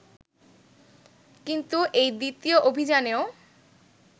কিন্তু এই দ্বিতীয় অভিযানেও